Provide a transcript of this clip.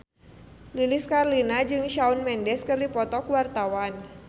Lilis Karlina jeung Shawn Mendes keur dipoto ku wartawan